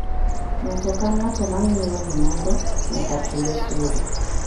Ng'ato ang'ata ma ng'iewo gimoro nyaka chul osuru.